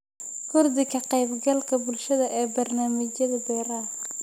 Kordhi ka qaybgalka bulshada ee barnaamijyada beeraha.